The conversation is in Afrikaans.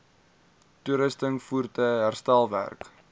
toerusting voertuie herstelwerk